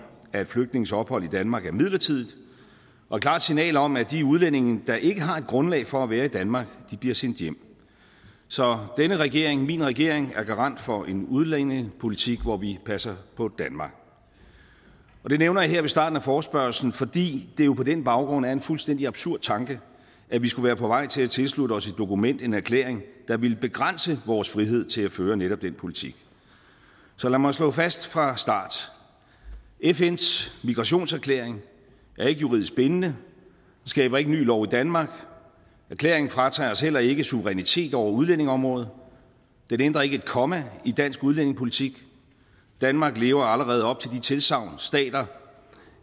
at flygtninges ophold i danmark er midlertidigt og et klart signal om at de udlændinge der ikke har et grundlag for at være i danmark bliver sendt hjem så denne regering min regering er garant for en udlændingepolitik hvor vi passer på danmark det nævner jeg her ved starten af forespørgslen fordi det jo på den baggrund er en fuldstændig absurd tanke at vi skulle være på vej til at tilslutte os et dokument en erklæring der ville begrænse vores frihed til at føre netop den politik så lad mig slå fast fra start fns migrationserklæring er ikke juridisk bindende skaber ikke ny lov i danmark erklæringen fratager os heller ikke suverænitet over udlændingeområdet den ændrer ikke et komma i dansk udlændingepolitik danmark lever allerede op til de tilsagn stater